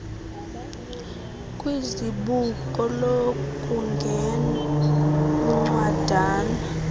kwizibuko lokungena incwadana